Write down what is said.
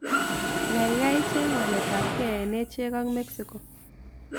Gaigai cheng' waletapkee eng' echek ak mexico